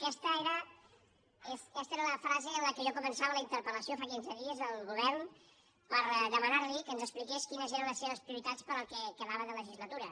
aquesta era la frase amb què jo començava la interpellació fa quinze dies al govern per demanar li que ens expliqués quines eren les seves prioritats per al que quedava de legislatura